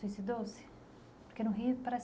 suicidou-se. Porque no Rio parece